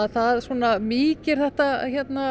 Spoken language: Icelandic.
það svona mýkir þetta